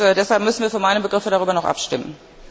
Deshalb müssen wir für meine Begriffe darüber noch abstimmen.